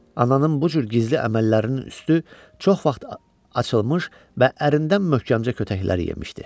Ananın bu cür gizli əməllərinin üstü çox vaxt açılmış və ərindən möhkəmcə kötəklər yemişdi.